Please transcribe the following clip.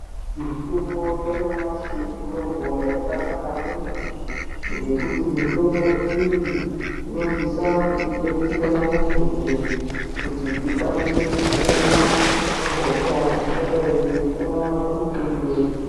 Mitombo yanyamashi mitombo yakanaka maningi ngekuti mitombo iyi inosisa kutidetsera muntu njee kuti tikwanise kupona pahosha ingadai yeipona pamutumbi wedu.